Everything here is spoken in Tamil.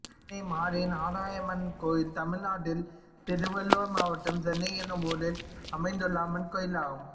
சென்னை மாரி நாராயணியம்மன் கோயில் தமிழ்நாட்டில் திருவள்ளூர் மாவட்டம் சென்னை என்னும் ஊரில் அமைந்துள்ள அம்மன் கோயிலாகும்